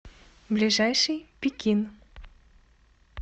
ближайший пекин